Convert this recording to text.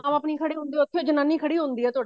ਬਾਪ ਨੀ ਖੜੇ ਹੁੰਦੇ ਉੱਥੇ ਜਨਾਨੀ ਖਦੀ ਹੁੰਦੀ ਹੈ